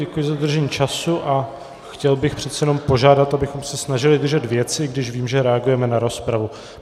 Děkuji za dodržení času a chtěl bych přece jenom požádat, abychom se snažili držet věci, když vím, že reagujeme na rozpravu.